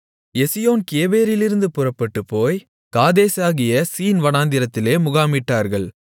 எசியோன் கேபேரிலிருந்து புறப்பட்டுப்போய் காதேசாகிய சீன் வனாந்திரத்திலே முகாமிட்டார்கள்